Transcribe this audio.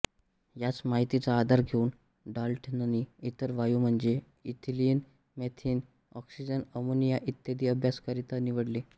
याच माहितीचा आधार घेऊन डाल्टननी इतर वायू म्हणजे इथिलीन मिथेन ऑक्सिजन अमोनिया इत्यादी अभ्यासाकरिता निवडले